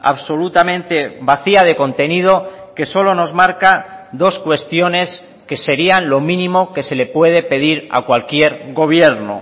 absolutamente vacía de contenido que solo nos marca dos cuestiones que serían lo mínimo que se le puede pedir a cualquier gobierno